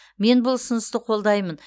мен бұл ұсынысты қолдаймын